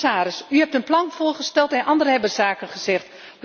Commissaris, u heeft een plan voorgesteld en anderen hebben zaken gezegd.